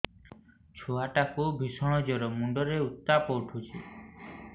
ଛୁଆ ଟା କୁ ଭିଷଣ ଜର ମୁଣ୍ଡ ରେ ଉତ୍ତାପ ଉଠୁଛି